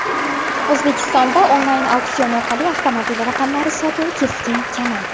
O‘zbekistonda onlayn auksion orqali avtomobil raqamlari sotuvi keskin kamaydi.